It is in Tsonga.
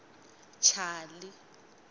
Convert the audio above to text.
chali